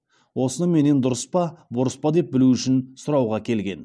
осыны менен дұрыс па бұрыс па деп білу үшін сұрауға келген